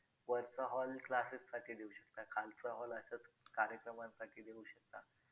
बघू आता ते madam कधी करतील काय करतील confirm होणारेच होणार